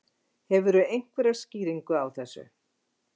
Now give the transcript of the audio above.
Hefurðu einhverja skýringu á þessu?